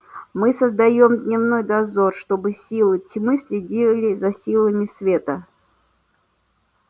мы создаём дневной дозор чтобы силы тьмы следили за силами света